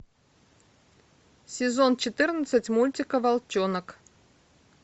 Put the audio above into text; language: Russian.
сезон четырнадцать мультика волчонок